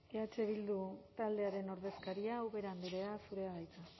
eh bildu taldearen ordezkaria ubera andrea zurea da hitza